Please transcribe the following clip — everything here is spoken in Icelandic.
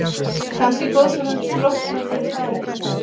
Kannski er goðsögnin sprottin af þeim staðreyndum?